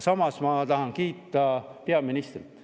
Samas ma tahan kiita peaministrit.